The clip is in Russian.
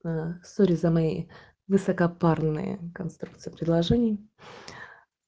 аа сорри за моей высокопарные конструкции предложений